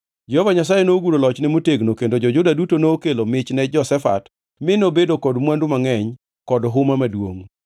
Jehova Nyasaye noguro lochne motegno kendo jo-Juda duto nokelo mich ni Jehoshafat mi nobedo kod mwandu mangʼeny kod huma maduongʼ.